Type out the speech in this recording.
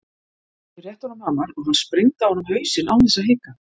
Ég rétti honum hamar og hann sprengdi á honum hausinn án þess að hika.